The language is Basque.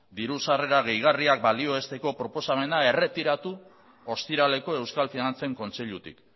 diru sarrerak gehigarriak balioesteko proposamena erretiratu ostiraleko euskal finantzen kontseilutik